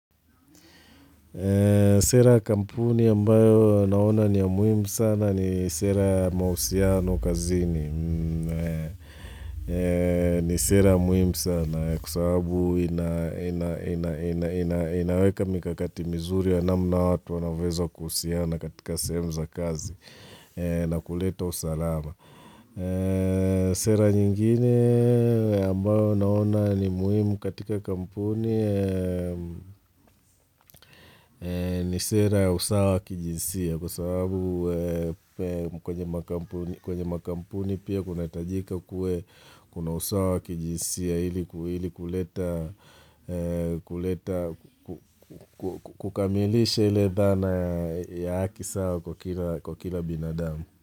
Sera ya kampuni ambayo naona ni ya muhimu sana ni sera ya mahusiano kazini. Ni sera muhimu sana kwa sababu inaweka mikakati mizuri ya namna watu wanaweza kuhusiana katika sehemu za kazi na kuleta usalama. Sera nyingine ambayo naona ni muhimu katika kampuni ni sera ya usawa kijinsia Kwa sababu kwenye makampuni pia kuna itajika kue kuna usawa kijinsia Hili kukamilisha hile dhana ya haki sawa kwa kila binadamu.